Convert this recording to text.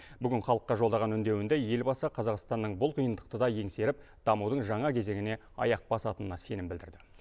бүгін халыққа жолдаған үндеуінде елбасы қазақстанның бұл қиындықты да еңсеріп дамудың жаңа кезеңіне аяқ басатынына сенім білдірді